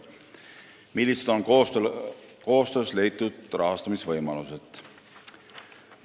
Millised on koostöös leitud rahastamisvõimalused?